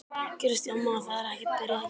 Kristján Már: Það er ekkert byrjað að gera?